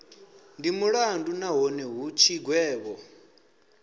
ndi mulandu nahone hu tshigwevho